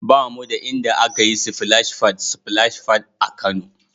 Ba mu da inda aka yi sifilash fad (splash pad) a Kano.